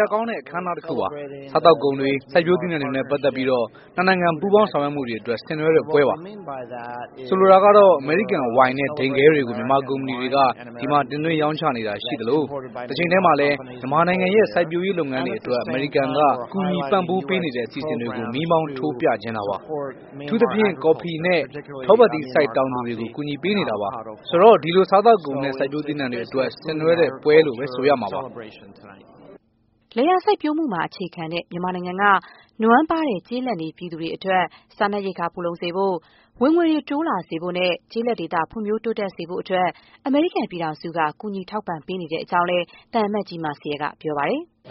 ရာကောင်းတဲ့ အခမ်းအနားတခုပါ။ စားသောက်ကုန်တွေ၊ စိုက်ပျိုးသီးနှံတွေနဲ့ ပတ်သက်ပြီး နှစ်နိုင်ငံ ပူးပေါင်းဆောင်ရွက်မှုတွေအတွက် ဆင်နွှဲတဲ့ ပွဲပါ။ ဆိုလိုတာကတော့ အမေရိကန်ဝိုင်နဲ့ ဒိန်ခဲတွေ ကို မြန်မာကုမ္ပဏီတွေက ဒီမှာ တင်သွင်းရောင်းချနေတာ ရှိသလို၊ တချိန်တည်းမှာလည်း မြန်မာနိုင်ငံရဲ့ စိုက်ပျိုးရေးလုပ်ငန်းတွေအတွက် အမေရိကန်က ကူညီပံ့ပိုးပေးနေတဲ့ အစီအစဉ်တွေကို မီးမှောင်းထိုးပြချင်တာပါ။ အထူးသဖြင့် ကော်ဖီနဲ့ ထောပတ်သီးစိုက်တောင်သူတွေကို ကူညီပေးနေတာပါ။ ဆိုတော့ ဒီလိုစားသောက်ကုန်နဲ့ စိုက်ပျိုးသီးနှံတွေအတွက် ဆင်နွှဲတဲ့ပွဲလို့ပဲ ဆိုရမှာပါ။” လယ်ယာစိုက်ပျိုးမှုမှာအခြေခံတဲ့ မြန်မာနိုင်ငံက နွမ်းပါးတဲ့ ကျေးလပ်နေပြည်သူတွေ အတွက် စားနပ်ရိက္ခာ ဖူလုံစေဖို့၊ ဝင်ငွေတွေ တိုးလာစေဖို့၊ ကျေးလပ်ဒေသဖွံ့ဖြိုး တိုးတက်စေဖို့အတွက် အမေရိကန်ပြည်ထောင်စုက ကူညီ ထောက်ပံ့ပေးနေတဲ့အကြောင်းလည်း သံအမတ်ကြီး မာစီရယ်က ပြောပါတယ်။ “အ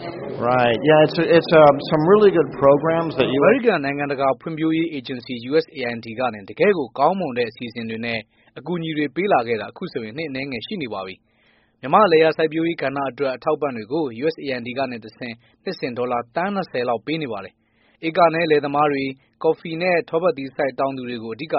မေရိကန် နိုင်ငံတကာဖွံ့ဖြိုးရေး အေဂျင်စီ USAID ကနေ တကယ့်ကိုကောင်းမွန်တဲ့ အစီအစဉ်တွေနဲ့ အကူအညီတွေပေးလာခဲ့တာ ခုဆိုရင် နှစ်အနည်းငယ်ရှိလာနေပါပြီ။ မြန်မာ့ လယ်ယာစိုက်ပျိုးရေးကဏ္ဍအတွက် အထောက်အပံ့တွေကို USAID ကနေတဆင့် နှစ်စဉ် ဒေါ်လာ သန်း ၂၀ လောက် ပေးနေပါတယ်။ ဧကနည်း လယ်သမားတွေ၊ ကော်ဖီ နဲ့ ထောပတ်သီးစိုက် တောင်သူတွေကို အဓိက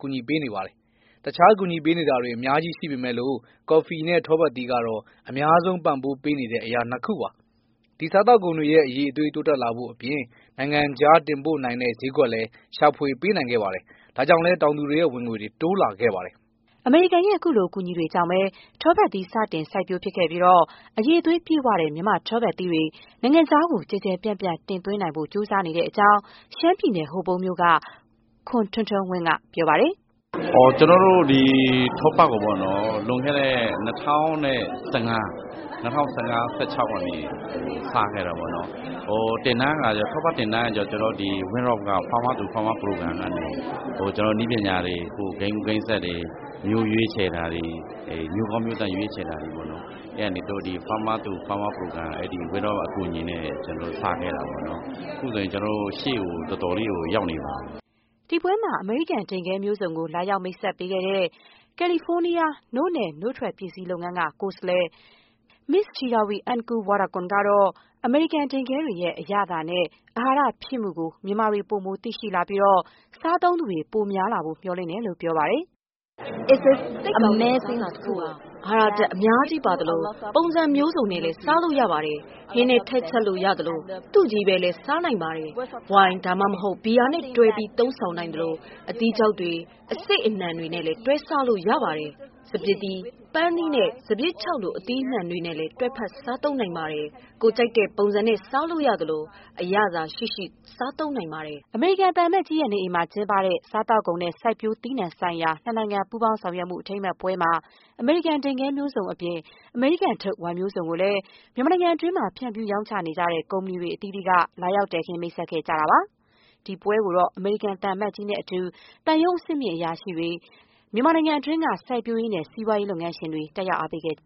ကူညီပေးပါတယ်။ တခြား ကူညီပေးနေတာတွေ အများကြီးရှိပေမဲ့လို့ ကော်ဖီနဲ့ ထောပတ်သီးကတော့ အများဆုံး ပံ့ပိုးပေးနေတဲ့အရာ နှစ်ခုပါ။ ဒီစားသုံးကုန်တွေရဲ့ အရည်အသွေး တိုးတက်လာဖို့အပြင် နိုင်ငံခြားတင်ပို့နိုင်တဲ့ ဈေးကွက်လည်း ရှာဖွေ ပေးနိုင်ခဲ့ပါတယ်။ ဒါကြောင့်လဲ တောင်သူတွေရဲ့ ဝင်ငွေ တိုးလာခဲ့ပါတယ်။” အမေရိကန်ရဲ့ အခုလို အကူအညီတွေကြောင့်ပဲ ထောပတ်သီး စတင်စိုက်ပျိုးဖြစ်ခဲ့ပြီး အရည်အသွေးပြည့်ဝတဲ့ မြန်မာ့ထောပတ်သီးတွေ နိုင်ငံခြားကို ကျယ်ကျယ်ပြန့်ပြန့် တင်သွင်းနိုင်ဖို့ ကြိုးစားနေတဲ့အကြောင်း ရှမ်းပြည်နယ် ဟိုပုံးမြို့က ခွန်ထွန်းထွန်းဝင်းက ပြောပါတယ်။ “ကျနော်တို့ ဒီထောပတ်ကို လွန်ခဲ့တဲ့ ၂၀၁၅-၁၆ လောက်မှာ စခဲ့တာပေါ့နော်။ ထောပတ် သင်တန်းက ကျတော့ WinRock International အဖွဲ့က Farmers to Farmers အစီအစဉ်ကနေ ကျနော်တို့ကို နည်းပညာတွေ၊ ကိုင်းကူး ကိုင်းဆက်တွေ၊ မျိုးကောင်းမျိုးသန့် ရွေးချယ်တာတွေ ကူညီပေးပြီး စခဲ့တာပေါ့နော်။ ခုဆိုရင် ကျနော်တို့ ရှေ့ကို တော်တော်လေးကို ရောက်နေပါပြီ။” ဒီပွဲမှာ အမေရိကန် ဒိန်ခဲမျိုးစုံကို လာရောက် မိတ်ဆက်ပေးခဲ့တဲ့ ကယ်လီဖိုးနီးယား နို့နဲ့နို့ထွက်ပစ္စည်း လုပ်ငန်းက ကိုယ်စားလှယ် မစ်္စ Theeravee Ungkuvorakul ကတော့ အမေရိကန်ဒိန်ခဲတွေရဲ့ အရသာနဲ့ အာဟာရဖြစ်မှုကို မြန်မာတွေ ပိုမို သိရှိလာပြီး စားသုံးသူတွေ ပိုများလာဖို့ မျှော်လင့်ကြောင်း ပြောပါတယ်။ “သိပ်ကောင်းတဲ့ အစားအစာတခုပါ။ အဟာရဓာတ် အများကြီးပါသလို၊ ပုံစံမျိုးစုံနဲ့ စားလို့ရပါတယ်။ ဟင်းထဲ ထည့်ချက်လို့ရသလို၊ သူ့ချည်းပဲလည်း စားနိုင်ပါတယ်။ ဝိုင် ဒါမှမဟုတ် ဘီယာ နဲ့ တွဲပြီး သုံးဆောင်နိုင်သလို၊ အသီးခြောက်တွေ၊ အစေ့အနှံတွေနဲ့လည်း တွဲစားလို့ရပါတယ်။ စပျစ်သီး၊ ပန်းသီးနဲ့ စပျစ်ခြောက်လို အသီးအနှံတွေနဲ့လည်း တွဲစားနိုင်ပါတယ်။ ကိုယ်ကြိုက်တဲ့ပုံစံနဲ့ စားလို့ရသလို၊ အရသာရှိရှိ စားနိုင်ပါတယ်။” အမေရိကန်သံအမတ်ကြီးအိမ်မှာ ကျင်းပတဲ့ စားသောက်ကုန်နဲ့ စိုက်ပျိုးသီးနှံဆိုင်ရာ နှစ်နိုင်ငံ ပူးပေါင်းဆောင်ရွက်မှု အထိမ်းအမှတ်ပွဲမှာ အမေရိကန် ဒိန်ခဲမျိုးစုံအပြင် အမေရိကန်ထုတ် ဝိုင်မျိုးစုံကိုလည်း မြန်မာနိုင်ငံတွင်း ဖြန့်ဖြူးရောင်းချနေတဲ့ ကုမ္ပဏီတွေ အသီးသီးက လာရောက် တည်ခင်း မိတ်ဆက်ခဲ့ကြပါတယ်။ ဒီပွဲကို အမေရိကန် သံအမတ်ကြီး နဲ့အတူ သံရုံးအဆင့်မြင့်အရာရှိတွေ၊ မြန်မာနိုင်ငံက စိုက်ပျိုးရေးနဲ့ စီးပွားရေး လုပ်ငန်းရှင်တွေ တက်ရောက် အားပေးခဲ့